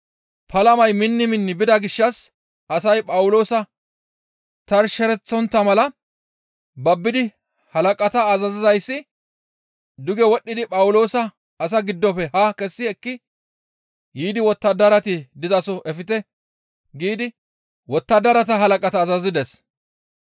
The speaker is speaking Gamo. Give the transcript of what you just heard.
Palamay minni minni bida gishshas asay Phawuloosa tarshereththontta mala babbidi halaqata azazizayssi, «Duge wodhdhidi Phawuloosa asaa giddofe haa kessi ekki yiidi wottadarati dizaso efte!» giidi wottadarata halaqata azazides.